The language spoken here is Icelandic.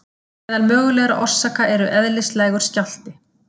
Meðal mögulegra orsaka eru Eðlislægur skjálfti.